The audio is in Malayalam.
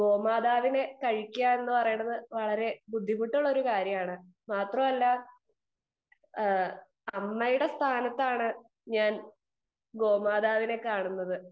സ്പീക്കർ 2 ഗോമാതാവിനെ കഴിക്കുക എന്ന് പറയുന്നത് വളരെ ബുദ്ധിമുട്ടുള്ള കാര്യമാണ് മാത്രമല്ല അമ്മയുടെ സ്ഥാനത്താണ് ഞാൻ ഗോമാതാവിനെ കാണുന്നത്